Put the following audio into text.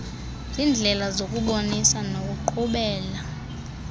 ziindlela zokubonisa nokuqhubela